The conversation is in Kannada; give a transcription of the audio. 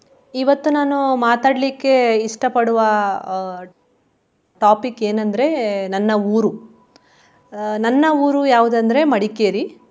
ಇವತ್ತು ನಾನು ಮಾತಾಡ್ಲಿಕ್ಕೆ ಇಷ್ಟ ಪಡುವ ಅಹ್ topic ಏನಂದ್ರೆ ನನ್ನ ಊರು. ಅಹ್ ನನ್ನ ಊರು ಯಾವುದಂದ್ರೆ ಮಡಿಕೇರಿ.